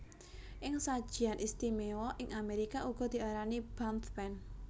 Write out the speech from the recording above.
Ing sajian istimewa ing Amerika uga diarani Bundt Pan